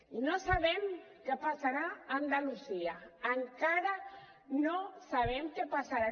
i no sabem què passarà a andalusia encara no sabem què passarà